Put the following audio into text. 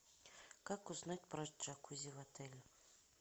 как узнать про джакузи в отеле